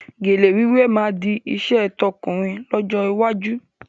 Gèlè wíwé máa di iṣẹ́ tọ̀kúnrin lọ́jọ́ iwájú